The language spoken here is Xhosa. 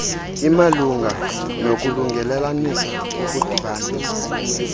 imalunga nokulungelelanisa ukudibanisa